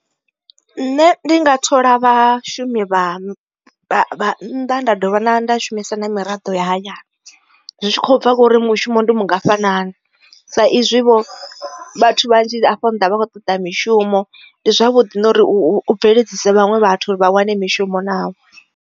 Nṋe ndi nga thola vhashumi vha vhannḓa nda dovha nda shumisa na miraḓo ya hayani zwi tshi khou bva khori mushumo ndi mungafhani sa izwi vho vhathu vhanzhi afho nnḓa vha khou toḓa mishumo ndi zwavhuḓi na uri u bveledzisa vhaṅwe vhathu uri vha wane mishumo navho.